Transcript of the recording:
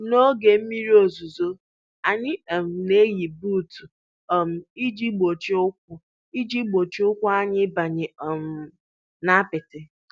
N'oge mmiri ozuzo, anyị um na-eyi buutu um iji gbochie ụkwụ iji gbochie ụkwụ anyị ịbanye um n'apịtị.